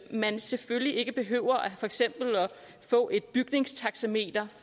man selvfølgelig ikke behøver for eksempel at få et bygningstaxameter